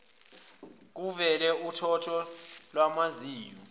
kuvele uthotho lwamazinyo